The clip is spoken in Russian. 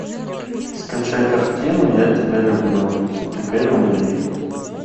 скачай картину я тебя люблю теперь умри